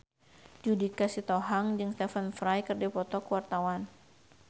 Judika Sitohang jeung Stephen Fry keur dipoto ku wartawan